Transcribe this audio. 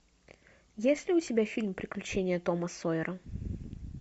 есть ли у тебя фильм приключения тома сойера